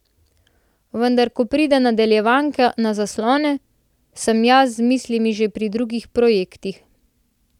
Vendar ko pride nadaljevanka na zaslone, sem jaz z mislimi že pri drugih projektih.